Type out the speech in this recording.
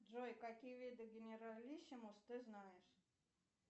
джой какие виды генералиссимус ты знаешь